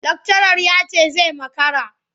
Lakcarar ya ce zai makara.